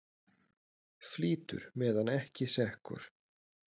Flýtur meðan ekki sekkur.